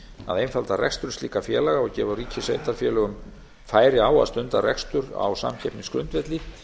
að einfalda rekstur slíkra félaga og gefa ríki og sveitarfélögum færi á að stunda rekstur á samkeppnisgrundvelli